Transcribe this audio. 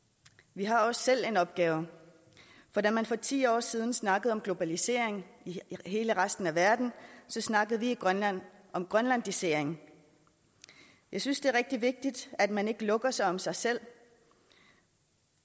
vi har også selv en opgave for da man for ti år siden snakkede om globalisering i hele resten af verden snakkede vi i grønland om grønlandisering jeg synes det er rigtig vigtigt at man ikke lukker sig om sig selv